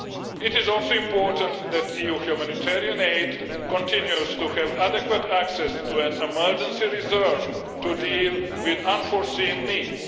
It is also important that EU humanitarian aid continues to have adequate access to an emergency reserve to deal with unforeseen needs.